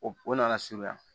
O o nana suguya